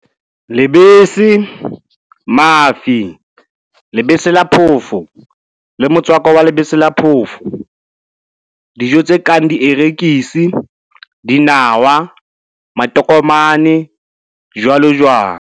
Lebese, mafi, lebese la phofo le motswako wa lebese la phofo Dijo tse kang dierekisi, dinawa, matokomane, jwalojwalo.